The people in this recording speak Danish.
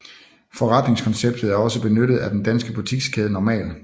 Forretningskonceptet er også benyttet af den danske butikskæde Normal